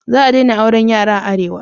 Za a daina auran yara a arewa